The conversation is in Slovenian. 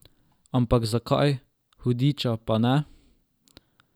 Ampak zakaj, hudiča, pa ne?